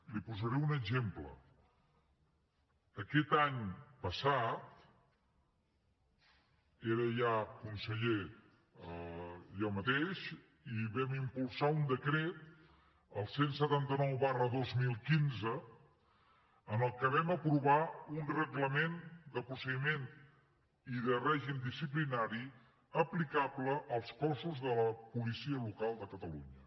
li’n posaré un exemple aquest any passat era ja conseller jo mateix i vam impulsar un decret el cent i setanta nou dos mil quinze amb el qual vam aprovar un reglament de procediment i de règim disciplinari aplicable als cossos de la policia local de catalunya